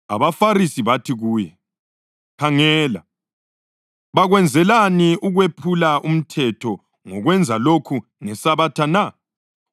AbaFarisi bathi kuye, “Khangela, bakwenzelani ukwephula umthetho ngokwenza lokhu ngeSabatha na?”